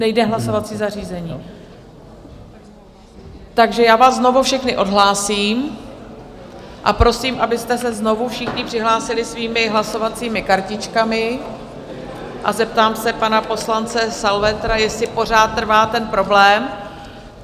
Nejde hlasovací zařízení, takže já vás znovu všechny odhlásím a prosím, abyste se znovu všichni přihlásili svými hlasovacími kartičkami, a zeptám se pana poslance Salvetra, jestli pořád trvá ten problém.